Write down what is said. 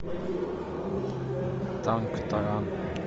танк таран